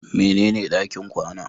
Mene ne ɗakin kwana?